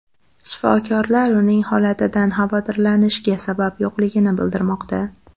Shifokorlar uning holatidan xavotirlanishga sabab yo‘qligini bildirmoqda.